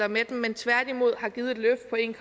med dem men tværtimod har givet et løft på en